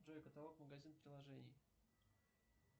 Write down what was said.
джой каталог магазин приложений